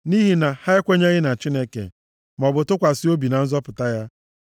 Nʼihi na ha ekwenyeghị na Chineke, maọbụ tụkwasị obi na nzọpụta ya.